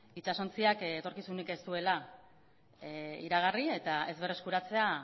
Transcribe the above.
itsasontziak etorkizunik ez duela iragarri eta ez berreskuratzea